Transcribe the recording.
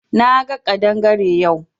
Na ga kadangare yau.